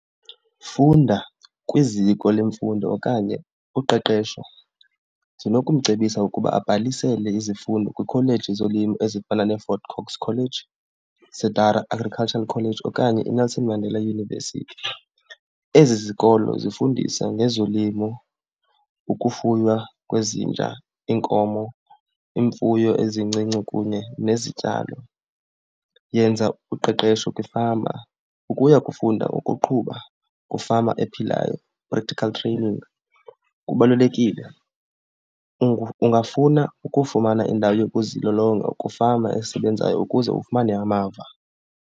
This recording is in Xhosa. Funda kwiziko lemfundo okanye uqeqesho, ndinokumcebisa ukuba abhalisele izifundo kwikholeji yezolimo ezifana neeFort Cox College, Cedara Agricultural College okanye iNelson Mandela University. Ezi zikolo zifundisa ngezolimo, ukufuywa kwezinja, iinkomo, iimfuyo ezincinci kunye nezityalo. Yenza uqeqesho kwifama, ukuya kufunda ukuqhuba kwifama ephilayo, practical training, kubalulekile. Ungafuna ukufumana indawo yokuzilolonga kwiifama esebenzayo ukuze ufumane amava.